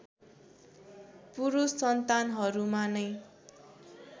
पुरुष सन्तानहरूमा नै